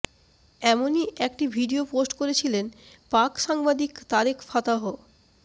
এমনই একটি video post করেছিলেন পাক সাংবাদিক তারেক ফাতাহ